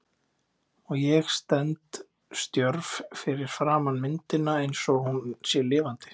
Og ég stend stjörf fyrir framan myndina einsog hún sé lifandi.